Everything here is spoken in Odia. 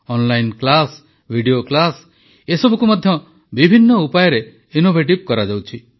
ଅନଲାଇନ୍ କ୍ଲାସ୍ ଭିଡିଓ କ୍ଲାସ୍ ଏସବୁକୁ ମଧ୍ୟ ବିଭିନ୍ନ ଉପାୟରେ ଇନୋଭେଟିଭ୍ କରାଯାଉଛି